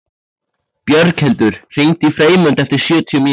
Björghildur, hringdu í Freymund eftir sjötíu mínútur.